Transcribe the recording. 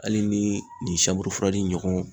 Hali ni nin fura di ɲɔgɔn